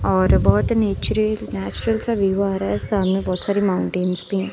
और बहुत नीचरे नेचुरल सा व्यू आ रहा है सामने बहुत सारी माउंटेंस भी हैं।